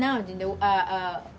Não.